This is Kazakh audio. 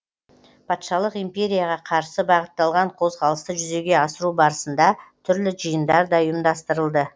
патшалық империяға қарсы бағытталған қозғалысты жүзеге асыру барысында түрлі жиындар да ұйымдастырылды